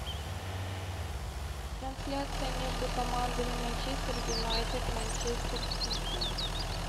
трансляция между командами манчестер юнайтед манчестер сити